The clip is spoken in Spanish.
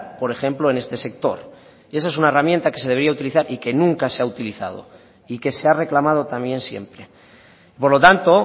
por ejemplo en este sector y esa es una herramienta que se debería utilizar y que nunca se ha utilizado y que se ha reclamado también siempre por lo tanto